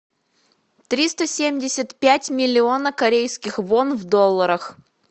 триста семьдесят пять миллиона корейских вон в долларах